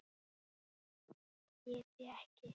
Það get ég ekki.